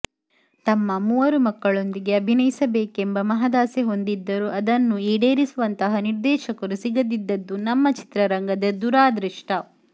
ತಮ್ಮ ಮೂವರು ಮಕ್ಕಳೊಂದಿಗೆ ಅಭಿನಯಿಸಬೇಕೆಂಬ ಮಹದಾಸೆ ಹೊಂದಿದ್ದರು ಅದನ್ನು ಈಡೇರಿಸುವಂತಹ ನಿರ್ದೇಶಕರು ಸಿಗದಿದ್ದದು ನಮ್ಮ ಚಿತ್ರರಂಗದ ದುರಾದೃಷ್ಟ